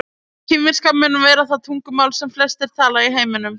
kínverska mun vera það tungumál sem flestir tala í heiminum